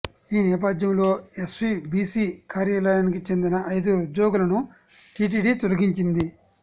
ఈ నేపథ్యంలో ఎస్వీబీసీ కార్యాలయానికి చెందిన ఐదుగురు ఉద్యోగులను టీటీడీ తొలగించింది